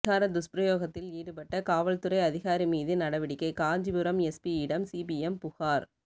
அதிகார துஷ்பிரயோகத்தில் ஈடுபட்ட காவல்துறை அதிகாரி மீது நடவடிக்கை காஞ்சிபுரம் எஸ்பியிடம் சிபிஎம் புகார்